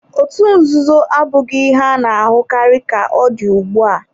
Otú nzuzo abụghị ihe a na-ahụkarị ka ọ dị ugbu a.